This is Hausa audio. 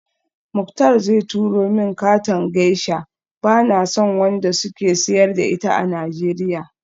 Muktar zai turo min katon geisha, bana son wanda suke siyar da ita a Nigeria